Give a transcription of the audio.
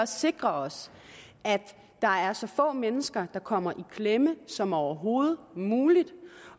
sikre os at der er så få mennesker der kommer i klemme som overhovedet muligt